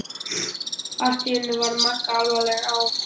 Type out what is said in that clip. Allt í einu varð Magga alvarleg: Á